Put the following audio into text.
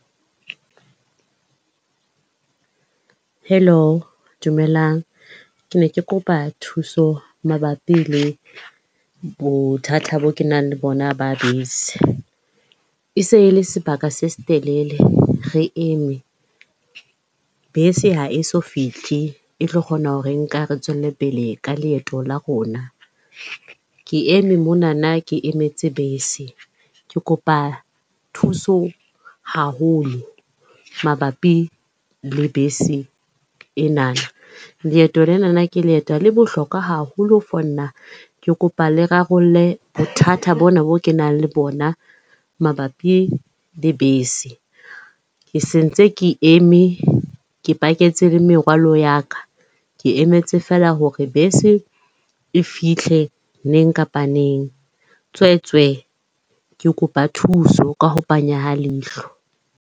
Hello? Dumelang. Ke ne ke kopa thuso mabapi le bothata boo kenang le bona ba bese. E se e le sebaka se setelele re eme. Bese ha e so fihle e tlo kgona ho re nka re tswelle pele ka leeto la rona. Ke eme monana ke emetse bese. Ke kopa thuso haholo mabapi le bese enana. Leeto lenana ke leeto le bohlokwa haholo for nna, ke kopa le rarolle bothata bona boo kenang le bona mabapi le bese. Ke se ntse ke eme, ke paketse le merwalo ya ka. Ke emetse feela hore bese e fihle neng kapa neng. Tswetswe, ke kopa thuso ka ho panya ha leihlo.